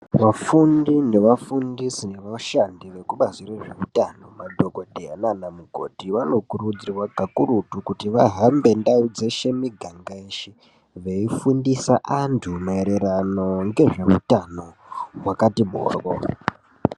Vafundi, nevafundisi nevashandi vekubazi rezveutano madhokodheya nana mukoti vanokurudzirwa kakurutu kuti vahambe ndau dzeshe miganga yeshe veifundisa antu maererano nezveutano hwakati moryo.